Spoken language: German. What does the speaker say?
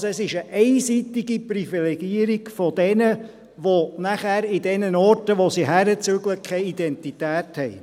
Also: Es ist eine einseitige Privilegierung derjenigen, die nachher an den Orten, wo sie hinziehen, keine Identität haben.